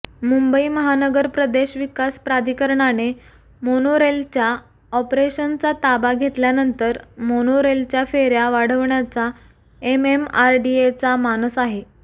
मुंबई महानगर प्रदेश विकास प्राधिकरणाने मोनोरेलच्या ऑपरेशनचा ताबा घेतल्यानंतर मोनोरेलच्या फेर्या वाढवण्याचा एमएमआरडीएचा मानस आहे